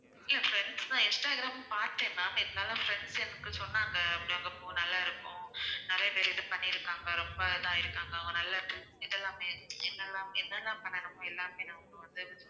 இல்ல friends தான் instagram பார்த்தேன் ma'am இருந்தாலும் friennds எனக்கு சொன்னாங்க அங்க போ நல்லா இருக்கும் நிறைய பேரு இது பண்ணி இருக்காங்க ரொம்ப இதா ஆகியிருக்காங்க அவங்க நல்லா இதெல்லாமே என்னெல்லாம் என்னெல்லாம் பண்ணணுமோ எல்லாமே அவங்க வந்து